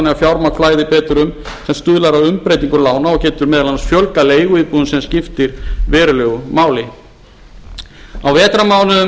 að fjármagn flæði betur um sem stuðlar að umbreytingu lána og getur meðal annars fjölgað leiguíbúðum sem skiptir verulegu máli á vetrarmánuðum